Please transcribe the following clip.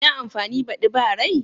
Ina amfani badi ba rai?